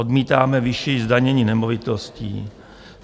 Odmítáme vyšší zdanění nemovitostí.